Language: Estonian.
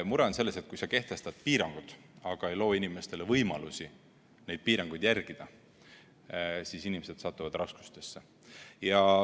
Mure on selles, et kui sa kehtestad piirangud, aga ei loo inimestele võimalusi neid piiranguid järgida, siis inimesed satuvad raskustesse.